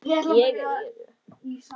Ég er í öðru.